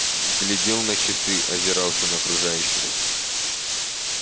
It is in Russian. глядел на часы озирался на окружающих